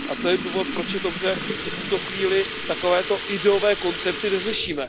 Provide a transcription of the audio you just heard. A to je důvod, proč je dobře, že v tuto chvíli takovéto ideové koncepty neřešíme.